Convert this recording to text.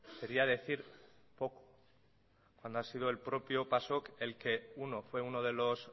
sería decir poco cuando ha sido el propio pasok el que uno fue uno de los